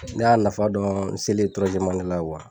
Ne y'a nafa dɔn n selen la